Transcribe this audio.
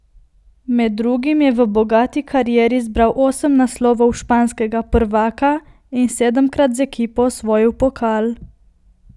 Med drugim je v bogati karieri zbral osem naslovov španskega prvaka in sedemkrat z ekipo osvojil pokal.